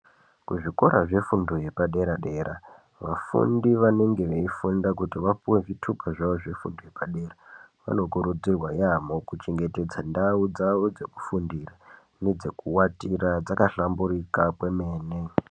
Kuzvikora zvefundo yepadera-dera vafundi vanenge veifunda kuti vapuwe zvitupa zvavo zvefundo yepadera. Zvinokurudzirwa yaamho kuchengetsedza ndau dzavo dzekufundira nedzekuvatira dzakahlamburika kwemene.